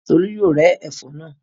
Tolú yóò rẹ́ ẹ̀fọ́ náà.